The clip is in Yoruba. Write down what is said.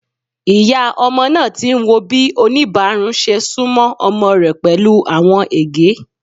Iya ọmọ naa ti n wo bi onibarun ṣe sunmọ ọmọ rẹ pẹlu awọn ege.